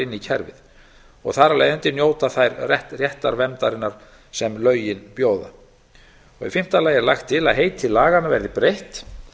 inn í kerfið þar af leiðandi njóta þær réttarverndarinnar sem lögin bjóða í fimmta lagi er lagt til að heiti laganna verði breytt